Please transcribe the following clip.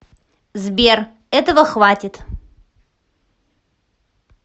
сбер этого хватит